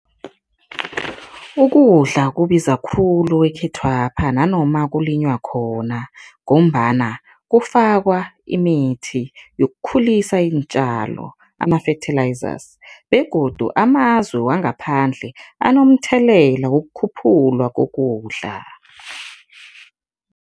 Ukudla kubiza khulu ekhethwapha nanoma kulinywa khona ngombana kufakwa imithi yokukhulisa iintjalo, ama-fertilizers begodu amazwe wangaphandle anomthelela wokukhuphulwa kokudla.